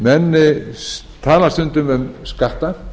menn tala stundum um skatta